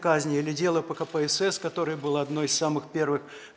казни или дело по кпсс который был одной из самых первых